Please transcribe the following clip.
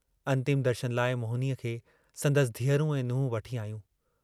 अन्तिम दर्शन लाइ मोहिनीअ खे संदसि धीअरूं ऐं नुहं वठी आयूं।